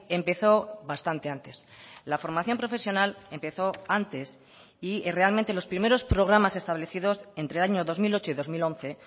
empezó bastante antes la formación profesional empezó antes y realmente los primeros programas establecidos entre el año dos mil ocho y dos mil once